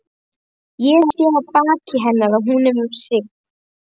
Ég sé á baki hennar að hún er hrygg.